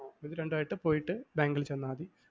ഇതുരണ്ടുമായിട്ട് പോയിട്ട് ബാങ്കിൽ ചെന്നാ മതി.